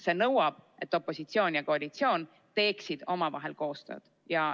See nõuab, et opositsioon ja koalitsioon teeksid omavahel koostööd.